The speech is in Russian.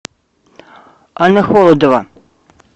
анна холодова